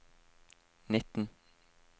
nitten